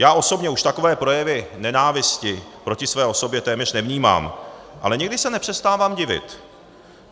Já osobně už takové projevy nenávisti proti své osobě téměř nevnímám, ale někdy se nepřestávám divit.